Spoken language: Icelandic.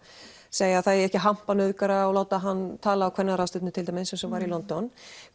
segja að það eigi ekki að hampa nauðgara og láta hann tala á kvennaráðstefnu til dæmis eins og var í London